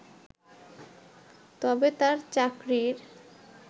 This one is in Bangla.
তবে তার চাকরির